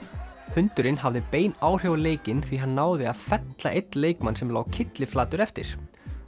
hundurinn hafði bein áhrif á leikinn því hann náði að fella einn leikmann sem lá kylliflatur eftir